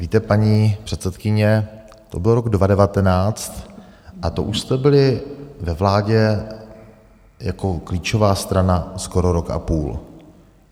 Víte, paní předsedkyně, to byl rok 2019 a to už jste byli ve vládě jako klíčová strana skoro rok a půl.